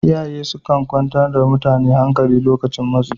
Iyaye sukan kwantar wa mutum hankali lokacin matsi